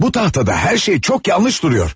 Bu taxtada hər şey çox yanlış durur.